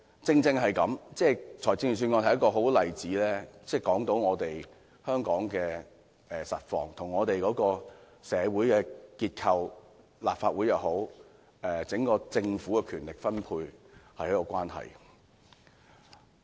預算案是一個很好的例子，說明香港的實況，跟社會結構、立法會或整個政府的權力分配有莫大的關係。